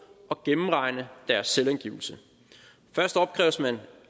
og gennemregne deres selvangivelse først opkræves man